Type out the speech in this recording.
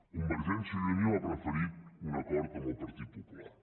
convergència i unió ha preferit un acord amb el partit popular